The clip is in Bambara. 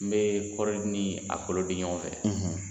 N bɛ kɔrɔni ni a kolo di ɲɔgɔn fɛ